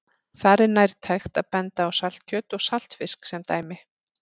Þar er nærtækt að benda á saltkjöt og saltfisk sem dæmi.